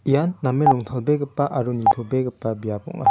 ia namen rongtalbegipa aro nitobegipa biap ong·a.